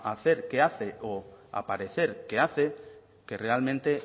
hacer que hace o aparecer que hace que realmente